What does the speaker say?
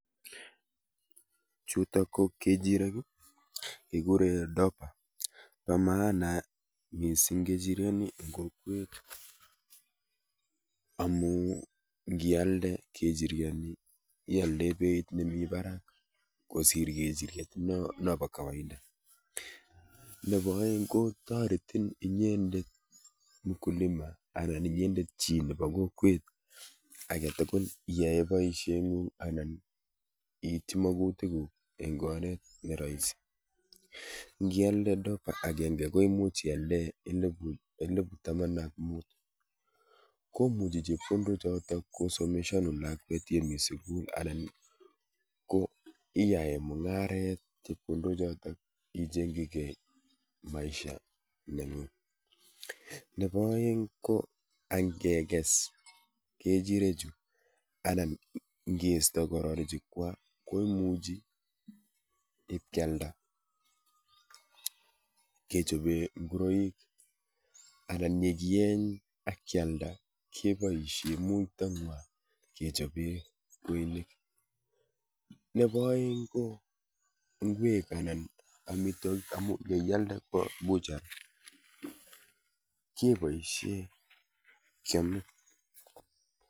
Chutok ko kechirek, kikure Dorper. Po maana mising kechiryoni eng kokwet amu nkialde kechiryoni ialdoe biet nemi barak kosir kechiryet nopo kawaida nepo oeng kotoretin inyendet mkulima anan inyendet chi nepo kokwet aketukul iyae boisheng'ung anan iityi mokutikuk eng oret ne rahisi. Nkialde Dorper akenke ko imuch ialdae elepu taman ak mut. Komuchi chepkondochoto kosomeshanun lakwet yemi sukul anan ko iae mung'aret chepkondochoto icheng'chigei maisha neng'ung. Nepo oeng ko ankekes kechirechu anan nkeisto kororichukwa ko imuchi kealda kechope nguroik anan yekieny akyalda kepoishe muitong'wa kechope kweinik. Nepo oeng ko ng'wek anan anan amitwokik amu yeialde kwo buchar kepoishe kyome.